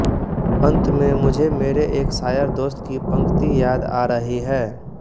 अन्त में मुझे मेरे एक शायर दोस्त की पंक्ति याद आ रही है